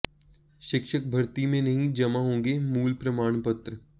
शिक्षक भर्ती में नहीं जमा होंगे मूल प्रमाण पत्र